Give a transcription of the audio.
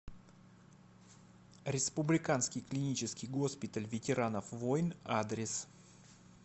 республиканский клинический госпиталь ветеранов войн адрес